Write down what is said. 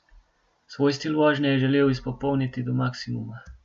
Svoj stil vožnje je želel izpopolniti do maksimuma.